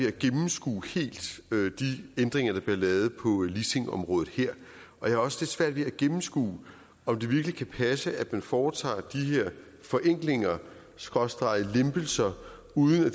at gennemskue de ændringer der bliver lavet på leasingområdet her jeg har også lidt svært ved at gennemskue om det virkelig kan passe at man foretager de her forenklinger skråstreg lempelser uden at